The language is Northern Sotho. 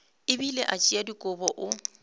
bile a tšea dikobo o